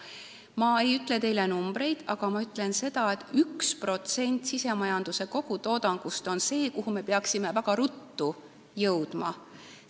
Ma ei ütle teile numbreid, aga ma ütlen seda, et 1% SKT-st on see, milleni me peaksime väga ruttu jõudma.